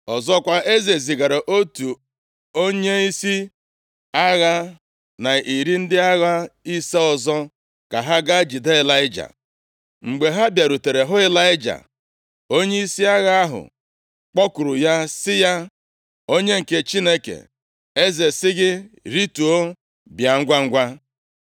Ọzọkwa, eze zigara otu onyeisi agha na iri ndị agha ise ọzọ ka ha gaa jide Ịlaịja. Mgbe ha bịarutere hụ Ịlaịja, onyeisi agha ahụ kpọkuru ya sị ya, “Onye nke Chineke, eze sị gị, ‘rituo, bịa ngwangwa!’ ”